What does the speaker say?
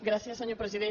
gràcies senyor president